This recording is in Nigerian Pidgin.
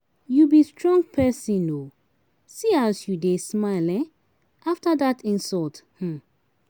You be strong person, um see as you dey smile um after dat insult um.